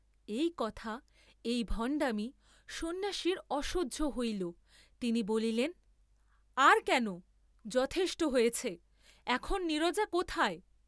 এই কথা, এই ভণ্ডামী, সন্ন্যাসীর অসহ্য হইল, তিনি বলিলেন, আর কেন, যথেষ্ট হয়েছে, এখন নীরজা কোথায়?